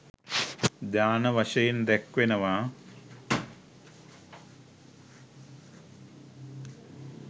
ධ්‍යාන වශයෙන් දැක්වෙනවා.